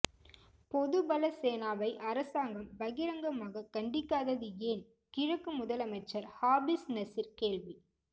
பொதுபலசேனாவை அரசாங்கம் பகிரங்கமாக கண்டிக்காதது ஏன் கிழக்கு முதலமைச்சர் ஹாபிஸ் நசீர் கேள்வி